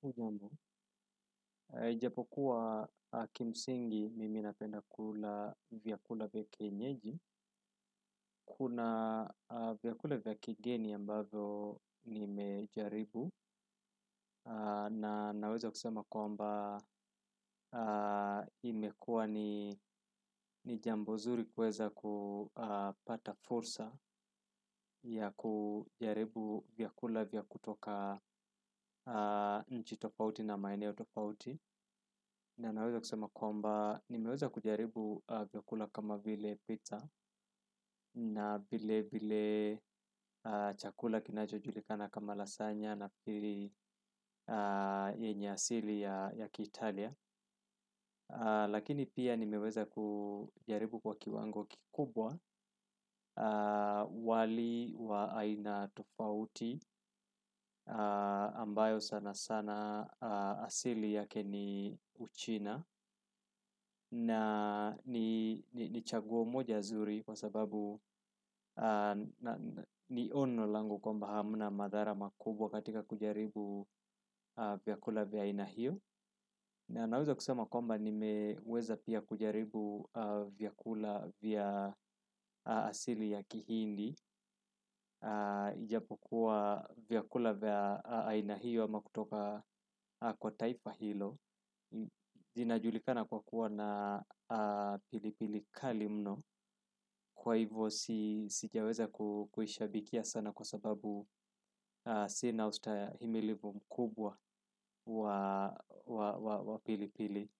Hujambo, ijapokuwa kimsingi mimi napenda kula vyakula vya kienyeji, kuna vyakula vya kigeni ambazo nimejaribu na naweza kusema kwamba imekua ni ni jambo zuri kuweza kupata fursa ya kujaribu vyakula vya kutoka nchi tofauti na maeneo tofauti na naweza kusema kwamba, nimeweza kujaribu vyakula kama vile pizza na bile bile chakula kinacho julikana kama lasanya na pili yenye asili ya ya kiitalia. Lakini pia nimeweza kujaribu kwa kiwango kikubwa wali wa aina tofauti ambayo sana sana asili yake ni uchina na ni ni chaguo moja zuri kwa sababu na ni ono langu kwamba hamna madhara makubwa katika kujaribu vyakula vya aina hiyo na naweza kusema kwamba nimeweza pia kujaribu vyakula vya asili ya kihindi. Ijapokuwa vyakula vya aina hiyo ama kutoka kwa taifa hilo zinajulikana kwa kuwa na pili pili kali mno kwa hivo si s sijaweza ku kuishabikia sana kwa sababu sina ustahimilivu mkubwa wa wa wa wa pili pili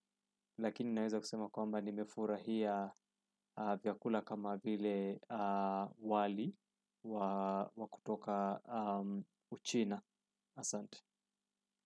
lakini naeza kusema kwamba nimefurahia vyakula kama vile wali wa wa kutoka uchina. Asante.